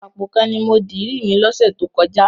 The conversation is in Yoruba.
Àpò kan ni mo dirí mi lọ́sẹ̀ tó kọjá.